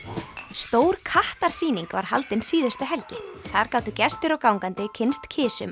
stór kattarsýning var haldin síðustu helgi þar gátu gestir og gangandi kynnst